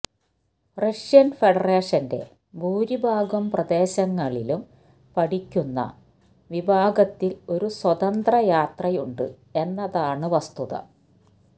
Russian ഫെഡറേഷൻറെ ഭൂരിഭാഗം പ്രദേശങ്ങളിലും പഠിക്കുന്ന വിഭാഗത്തിൽ ഒരു സ്വതന്ത്ര യാത്രയുണ്ട് എന്നതാണ് വസ്തുത